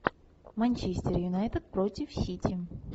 манчестер юнайтед против сити